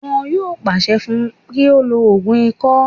Wọn yóò pàṣẹ fún un kí ó lo ògùn ikọ́